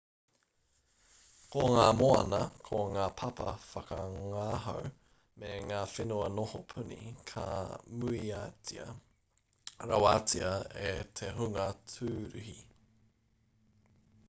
ko ngā moana ko ngā papa whakangahau me ngā whenua noho puni ka muiatia rawatia e te hunga tūruhi